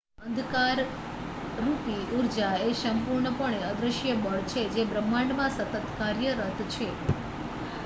અંધકારરૂપી ઊર્જા એ સંપૂર્ણપણે અદૃશ્ય બળ છે જે બ્રહ્માંડમાં સતત કાર્યરત છે